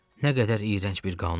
Nə qədər iyrənc bir qanun.